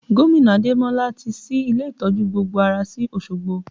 Gomina Ademola ti ṣí ilé ìtọ́jú gbogbo ara sí Osogbo